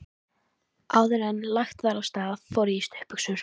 Áðuren lagt var af stað fór ég í stuttbuxur.